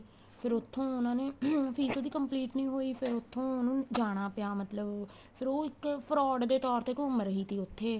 ਫੇਰ ਉੱਥੋ ਉਹਨਾ ਨੇ fees ਉਹਦੀ complete ਨੀਂ ਹੋਈ ਫੇਰ ਉੱਥੋ ਉਹਨੂੰ ਜਾਣਾ ਪਿਆ ਮਤਲਬ ਫੇਰ ਉਹ ਇੱਕ fraud ਦੇ ਤੋਰ ਤੇ ਘੁੰਮ ਰਹੀ ਟੀ ਉੱਥੇ